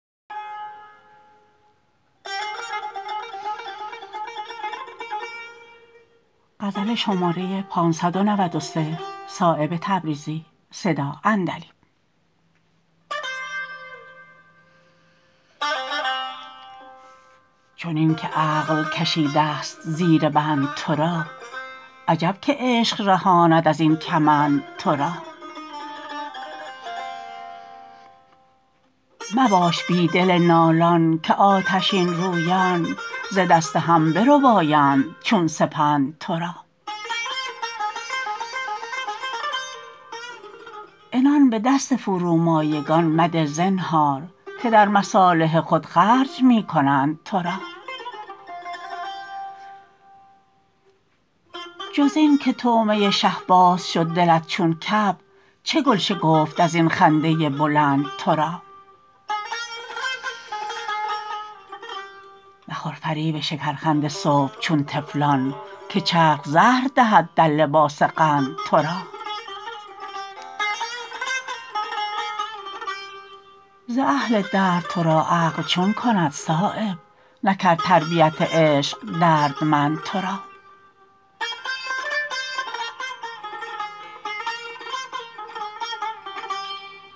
چنین که عقل کشیده است زیر بند ترا عجب که عشق رهاند ازین کمند ترا مباش بی دل نالان که آتشین رویان ز دست هم بربایند چون سپند ترا عنان به دست فرومایگان مده زنهار که در مصالح خود خرج می کنند ترا جز این که طعمه شهباز شد دلت چون کبک چه گل شکفت ازین خنده بلند ترا مخور فریب شکرخند صبح چون طفلان که چرخ زهر دهد در لباس قند ترا ز اهل درد ترا عقل چون کند صایب نکرد تربیت عشق دردمند ترا